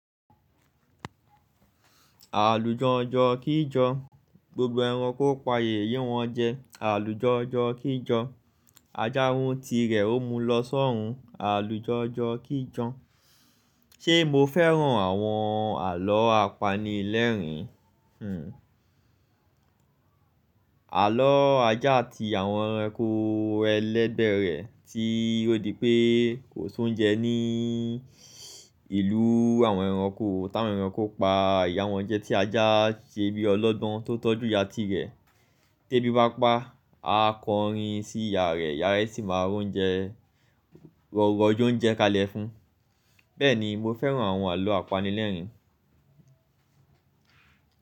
Àlùjanjan kí jan, gbogbo ẹranko pà yeye wọ́n jẹ, àlùjanjan kí jan Ajá mu tìrẹ́, ó mú lọ sọ́ ọ̀run, àlùjọ́jọ́ kí jọ́n. Ṣé mo fẹ́ràn àwọn àlọ́ apanilẹ́rìn? Hhm. Àlọ́ ajá àti àwọn ẹranko ẹlẹ́bẹ̀rẹ̀ tí ó di pé kò so jẹun ní ìlú àwọn ẹranko, táwọn ẹranko pa ìyá wọn jẹ, tí ajá ṣe bí ọlogbon tó tọ́jú ìyá ti rẹ̀. Tébi bá pa á kọrin sí ìyá rẹ̀, ìyá rẹ̀ sì máa rójọ́únjẹ kalẹ̀ fún un. Bẹ́ẹ̀ ni mo fẹ́ràn àwọn àlọ́ apanilẹ́rìn.